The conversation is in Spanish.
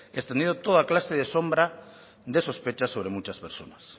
extendiendo toda clase de sombra de sospecha sobre muchas personas